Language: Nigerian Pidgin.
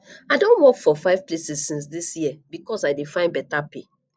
i don work for five places since dis year because i dey find beta pay